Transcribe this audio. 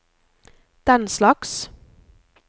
denslags